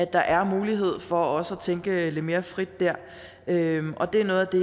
der er mulighed for også at tænke lidt mere frit der det er noget af det